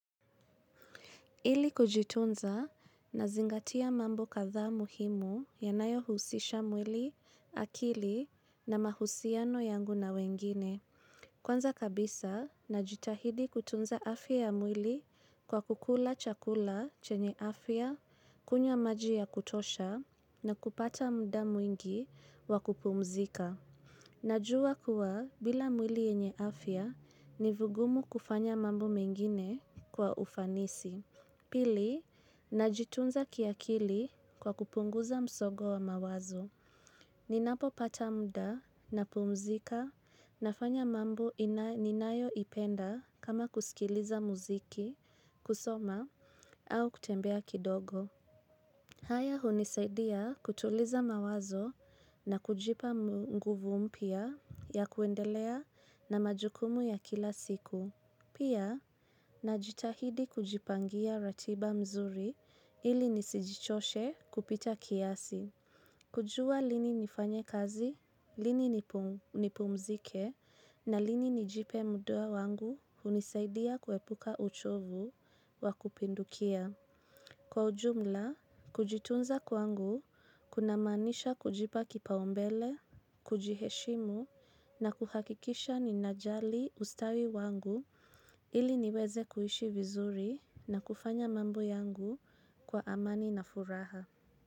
Ili kujitunza nazingatia mambo kadhaa muhimu yanayohusisha mwili, akili na mahusiano yangu na wengine. Kwanza kabisa najitahidi kutunza afya ya mwili kwa kukula chakula chenye afya, kunywa maji ya kutosha na kupata muda mwingi wa kupumzika. Najua kuwa bila mwili yenye afya ni vigumu kufanya mambo mengine kwa ufanisi. Pili, najitunza kiakili kwa kupunguza msongo wa mawazo. Ninapopata muda napumzika nafanya mambo ninayoipenda kama kusikiliza muziki, kusoma, au kutembea kidogo. Haya hunisaidia kutuliza mawazo na kujipa nguvu mpya ya kuendelea na majukumu ya kila siku. Pia, najitahidi kujipangia ratiba mzuri ili nisijichoshe kupita kiasi. Kujua lini nifanye kazi, lini nipumzike na lini nijipe muda wangu hunisaidia kuepuka uchovu wa kupindukia. Kwa ujumla, kujitunza kwangu kuna maanisha kujipa kipaumbele, kujiheshimu na kuhakikisha ninajali ustawi wangu ili niweze kuishi vizuri na kufanya mambo yangu kwa amani na furaha.